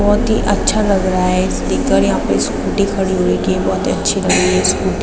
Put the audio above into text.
बोहोत ही अच्छा लग रहा है इसे देखकर। यहाँ पे स्कूटी खड़ी हुवी कि बोहोत अच्छी लग रही है स्कूटी ।